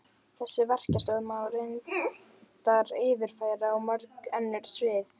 Þessa verkstjórn má reyndar yfirfæra á mörg önnur svið.